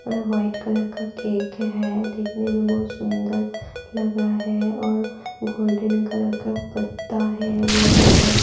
white colour का cake है देखने में बहुत सुंदर लग रहा है और गोल्डन कलर का पत्ता है बहुत सुंदर --